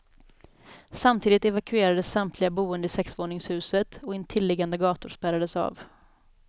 Samtidigt evakuerades samtliga boende i sexvåningshuset och intilliggande gator spärrades av.